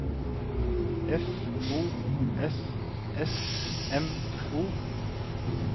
F O S S M O